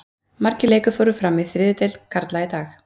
Margir leikir fóru fram í þriðju deild karla í dag.